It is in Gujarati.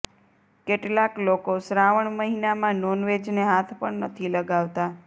કેટલાક લોકો શ્રાવણ મહિનામાં નોનવેજને હાથ પણ નથી લગાવતા